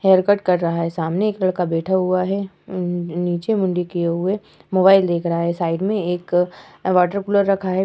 Haircut कर रहा है। सामने एक लड़का बैठा हुआ है। अम्म नीचे मुंडी किये हुए मोबाइल देख रहा है। साइड में एक वाटर कूलर रखा है।